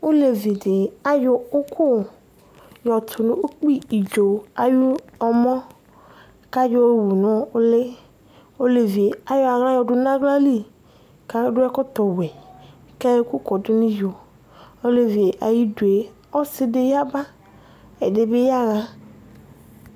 Ɔlevidi ayɔ ʋkʋ yɔdʋ ukpi idzo ayʋ ɔmɔ kʋ ayʋ nʋ ʋli elevi yɛ ayɔ aɣla dʋnʋ aɣlali kʋ adʋ ɛkɔtɔwɛ kʋ ayɔ ɛkʋ kɔdʋ nʋ iyo elevi yɛ ayidʋ ɔsidi yaba ɛdibi yaxa